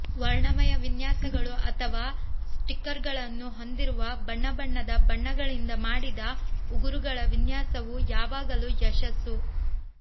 ವರ್ಣಮಯ ವಿನ್ಯಾಸಗಳು ಅಥವಾ ಸ್ಟಿಕ್ಕರ್ಗಳನ್ನು ಹೊಂದಿರುವ ಬಣ್ಣಬಣ್ಣದ ಬಣ್ಣಗಳಿಂದ ಮಾಡಿದ ಉಗುರುಗಳ ವಿನ್ಯಾಸವು ಯಾವಾಗಲೂ ಯಶಸ್ಸು